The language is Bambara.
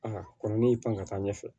Aa kɔrɔ ne y'i pan ka taa ɲɛfɛ